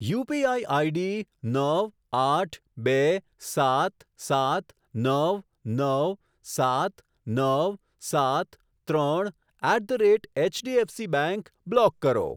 UPI ID નવ આઠ બે સાત સાત નવ નવ સાત નવ સાત ત્રણ at the rate HDFC bank block કરો.